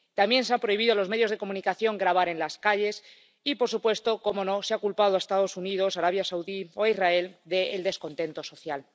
También se ha prohibido a los medios de comunicación grabar en las calles y, por supuesto, cómo no, se ha culpado a los Estados Unidos, a Arabia Saudí o a Israel del descontento social.